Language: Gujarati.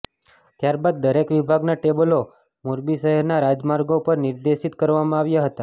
ત્યારબાદ દરેક વિભાગના ટેબ્લો મોરબી શહેરના રાજમાર્ગો પર નિર્દેશિત કરવામાં આવ્યા હતાં